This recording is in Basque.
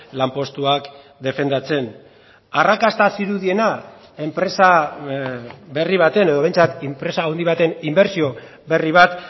lanpostuak defendatzen arrakasta zirudiena enpresa berri baten edo behintzat enpresa handi baten inbertsio berri bat